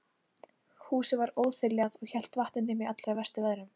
Húsið var óþiljað og hélt vatni nema í allra verstu veðrum.